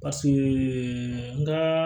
n ka